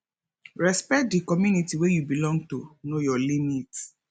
respect di community wey you belong to know your limit